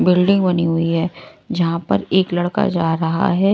Building बनी हुई है जहां पर एक लड़का जा रहा है।